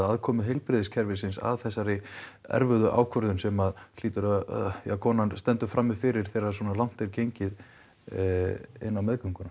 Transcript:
aðkomu heilbrigðiskerfisins að þessari erfiðu ákvörðun sem kona stendur frammi fyrir þegar svona langt er gengið inn á meðgönguna